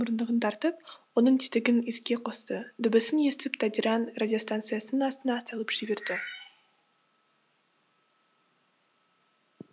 мұрындығын тартып оның тетігін іске қосты дыбысын естіп тадиран радиостанциясының астына салып жіберді